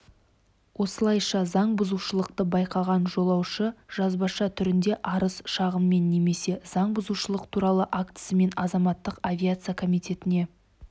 осылайша заң бұзушылықты байқаған жолаушы жазбаша түріндегі арыз-шағымымен немесе заң бұзушылық туралы актісімен азаматтық авиация комитетіне